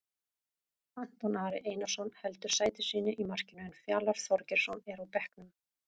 Anton Ari Einarsson heldur sæti sínu í markinu en Fjalar Þorgeirsson er á bekknum.